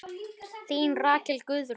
Þín Rakel Guðrún.